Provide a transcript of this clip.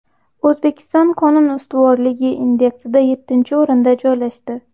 O‘zbekiston qonun ustuvorligi indeksida yettinchi o‘rinda joylashdi.